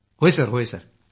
हो होय सर